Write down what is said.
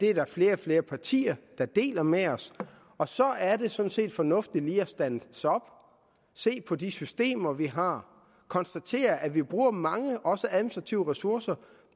er flere og flere partier der deler med os og så er det sådan set fornuftigt lige at standse op se på de systemer vi har og konstatere at vi bruger mange også administrative ressourcer